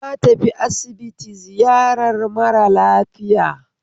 Na tafi asibiti ziyarar mara lafiya